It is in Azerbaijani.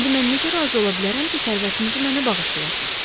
İndi mən necə razı ola bilərəm ki, sərvətinizi mənə bağışlayasız?